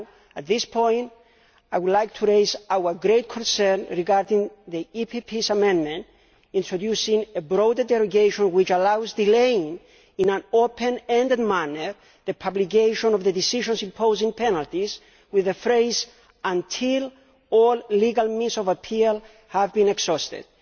At this point I would like to raise our great concern regarding the PPE's amendment introducing a broader derogation which allows delaying, in an open ended manner, the publication of the decisions imposing penalties with the phrase until all legal means of appeal have been exhausted'.